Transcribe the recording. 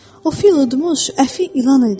O fil udmuş əfi ilan idi.